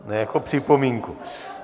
Ne, jako připomínku.